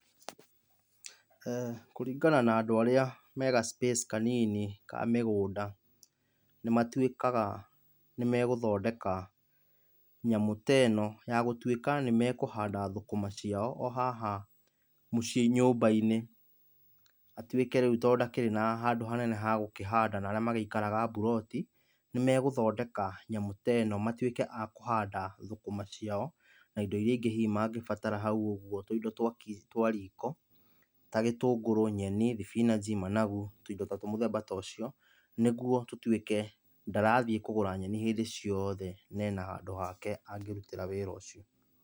Kũringana na andũ arĩa me ga space kanini ka mĩgũnda nĩmatũĩkaga nĩmegũthondeka nyamũ ta ĩ no, yagũtũĩka nĩmekũhanda thũkũma ciao o haha mũciĩ-ini nyumba-inĩ atuĩke rĩu tondũ ndakĩrĩ na handũ hanene hagũkĩhanda na arĩa magĩikaraga bũroti, nĩmegũthondeka nyamũ ta ĩ no matũĩke a kũhanda thũkũma ciao na indo irĩa ingĩ hihi mangĩbatara haũ ũguo tũindo twa riko ta gĩtũngũrũ, nyeni, thibinanji, managu, tũindo mũthemba ta ũcio, nĩguo tũtuĩke ndarathiĩ kũgũra nyeni hĩndĩ ciothe na ena handũ hake angĩrutĩra wĩra ũcio.